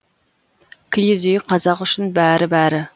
киіз үй қазақ үшін бәрі бәрі